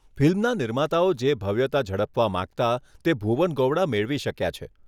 ફિલ્મના નિર્માતાઓ જે ભવ્યતા ઝડપવા માંગતાં તે ભુવન ગોવડા મેળવી શક્યા છે.